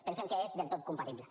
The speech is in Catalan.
pensem que és del tot compatible